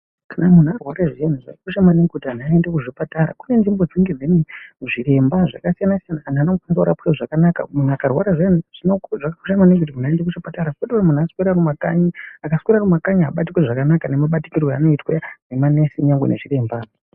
Kana munhu arwara zviyani zvakakosha maningi kuti vanhu aende kuchipatara kune tsvimbo dzinenge dziine zviremba zvakasiyana siyana antu anokunda kurapwa zvakanaka munhu akarwara zviyani zvakakosha maningi kuti munhu aende kuchipatara kwete kuti munhu aswere arikumakanyi akaswera arikumakanyi haabatwi zvakanaka nabatwire anoitwa nemanesi kana anachiremba .